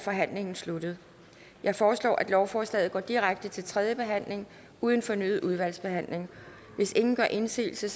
forhandlingen sluttet jeg foreslår at lovforslaget går direkte til tredje behandling uden fornyet udvalgsbehandling hvis ingen gør indsigelse